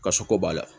Kasɔrɔ ko b'a la